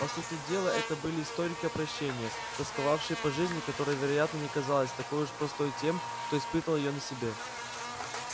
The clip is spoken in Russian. по сути дела это были сторонники опрощения тосковавшие по жизни которая вероятно не казалась такой уж простой тем кто испытал её на себе